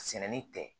Sɛnɛni tɛ